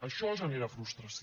això genera frustració